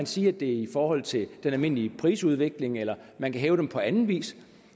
sige at det er i forhold til den almindelige prisudvikling eller man kan hæve dem på anden vis